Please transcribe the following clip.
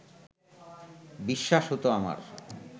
বিশ্বাস হত আমার